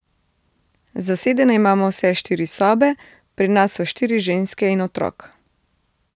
Zasedene imamo vse štiri sobe, pri nas so štiri ženske in otrok.